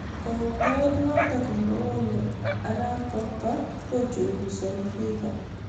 Kautoet notok nebo Paulo arap pokpa kochungusanii fiva